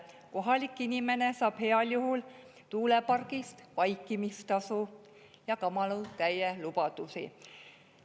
Kohalik inimene saab heal juhul tuulepargi eest vaikimistasu ja kamalutäie lubadusi.